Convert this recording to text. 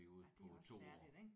Ja det er også særligt ik